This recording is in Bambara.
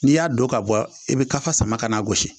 N'i y'a don ka bɔ i bɛ ka sama ka na gosi